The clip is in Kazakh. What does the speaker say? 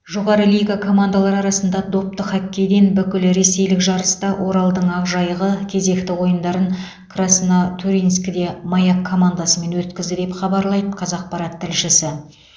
жоғары лига командалары арасында допты хоккейден бүкілресейлік жарыста оралдың ақжайығы кезекті ойындарын краснотурьинскіде маяк командасымен өткізді деп хабарлайды қазақпарат тілшісі